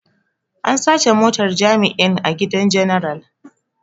An sace motar jami'in a gidan general.